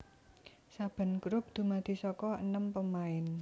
Saben grup dumadi saka enem pemain